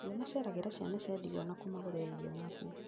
Nĩmaceragĩra ciana cia ndigwa na kũmagũrĩra irio na nguo